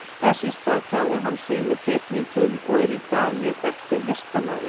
Þess í stað tjáði hann sig með teikningum og er í dag mjög þekktur listamaður.